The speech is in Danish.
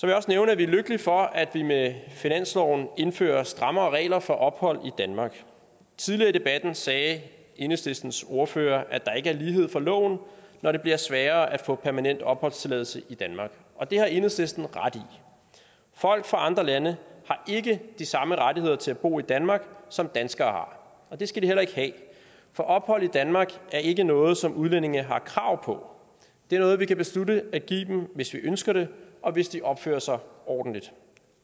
jeg også nævne at vi er lykkelige for at vi med finansloven indfører strammere regler for ophold i danmark tidligere i debatten sagde enhedslistens ordfører at der ikke er lighed for loven når det bliver sværere at få permanent opholdstilladelse i danmark og det har enhedslisten ret i folk fra andre lande har ikke de samme rettigheder til at bo i danmark som danskere og det skal de heller ikke have for ophold i danmark er ikke noget som udlændinge har krav på det er noget vi kan beslutte at give dem hvis vi ønsker det og hvis de opfører sig ordentligt